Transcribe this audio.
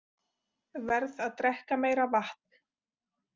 Verð að drekka meira vatn.